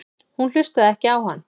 Hún hlustaði ekki á hann.